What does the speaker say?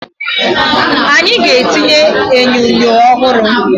Anyị ga-etinye enyo ọhụrụ